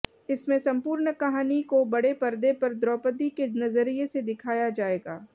इसमें संपूर्ण कहानी को बड़े पर्दे पर द्रौपदी के नजरिए से दिखाया जाएगा